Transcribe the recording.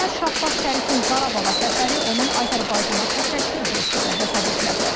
Məhəmməd Şahbaz Şərifin Qarabağa səfəri onun Azərbaycana təşəkkür jesti də hesab edilə bilər.